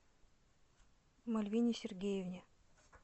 мальвине сергеевне